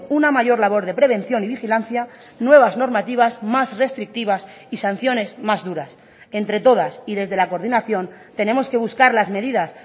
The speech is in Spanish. una mayor labor de prevención y vigilancia nuevas normativas más restrictivas y sanciones más duras entre todas y desde la coordinación tenemos que buscar las medidas